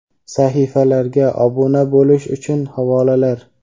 Sahifalarga obuna bo‘lish uchun havolalar:.